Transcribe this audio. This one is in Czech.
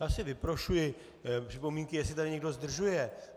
Já si vyprošuji připomínky, jestli tady někdo zdržuje.